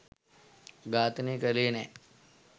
ඝාතනය කළේ නෑ.